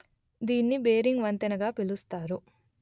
దీన్ని బేరింగ్ వంతెన గా పిలుస్తారు